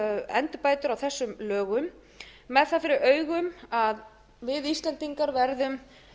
endurbætur á þessum lögum með það fyrir augum að við íslendingar verðum